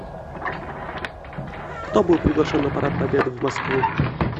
кто был приглашен на парад победы в москву